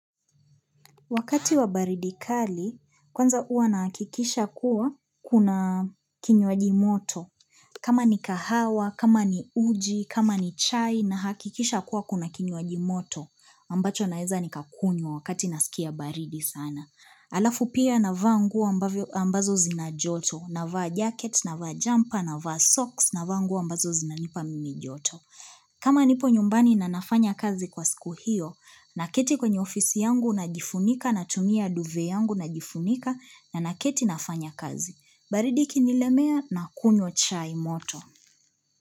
Wakati wa baridi kali, kwanza uwa na hakikisha kuwa kuna kinyuajimoto. Kama ni kahawa, kama ni uji, kama ni chai, na hakikisha kuwa kuna kinyuaji moto. Ambacho naeza ni kakunywa wakati nasikia baridi sana. Alafu pia navaa nguo ambazo zina joto, na vaa jacket, na vaa jumper, na vaa socks, na vangu ambazo zina nipa mimi joto. Kama nipo nyumbani na nafanya kazi kwa siku hiyo, naketi kwenye ofisi yangu najifunika na tumia duve yangu najifunika na naketi nafanya kazi. Baridi ikinilemea nakunywa chai moto.